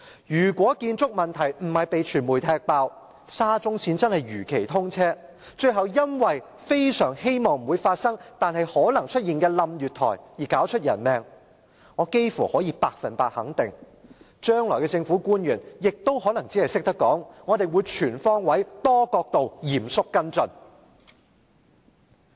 如果建築問題沒有被傳媒揭露，沙中線真的如期通車，最後因為月台倒塌——非常希望這不會發生——導致人命傷亡，我幾乎可以百分之一百肯定，將來的政府官員只會說："我們會全方位、多角度、嚴肅跟進。